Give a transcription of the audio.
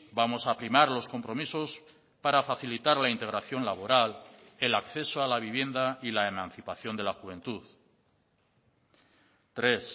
vamos a primar los compromisos para facilitar la integración laboral el acceso a la vivienda y la emancipación de la juventud tres